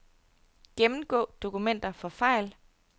Gennemgå dokumenter for fejl.